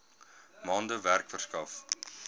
maande werk verskaf